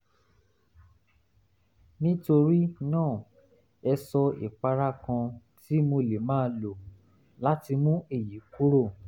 nítorí náà ẹ sọ ìpara kan tí mo lè máa lò láti mú èyí kúrò